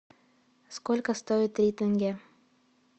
сколько стоит три тенге